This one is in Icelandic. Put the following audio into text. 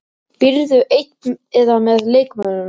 Býrðu ein eða með leikmönnum?